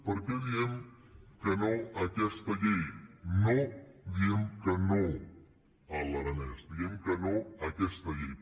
per què diem que no a aquesta llei no diem que no a l’aranès diem que no a aquesta llei